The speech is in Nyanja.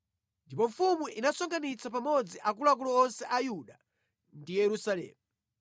Ndipo mfumu inasonkhanitsa pamodzi akuluakulu onse a Yuda ndi Yerusalemu.